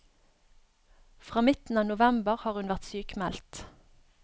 Fra midten av november har hun vært sykmeldt.